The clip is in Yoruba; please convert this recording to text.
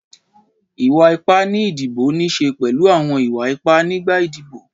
Ìwà ipá ni ìdìbò níí sè pẹ̀lú àwọn ìwà ipá nígbà ìdìbò